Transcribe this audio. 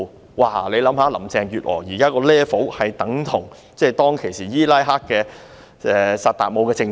大家試想一想，現在林鄭月娥的 level 等同當時伊拉克的薩達姆政權。